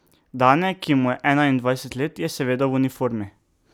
Dane, ki mu je enaindvajset let, je seveda v uniformi.